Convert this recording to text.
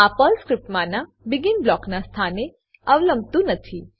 આ પર્લ સ્ક્રીપ્ટમાનાં બેગિન બ્લોકનાં સ્થાનને અવલંબતું નથી